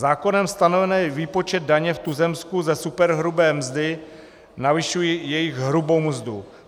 Zákonem stanovený výpočet daně v tuzemsku ze superhrubé mzdy navyšuje jejich hrubou mzdu.